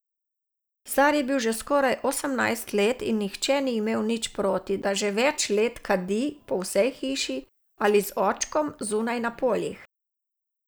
Star je bil že skoraj osemnajst in nihče ni imel nič proti, da že več let kadi po vsej hiši ali z očkom zunaj na poljih.